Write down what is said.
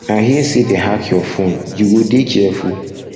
i hear um say dey hack your phone you go dey careful um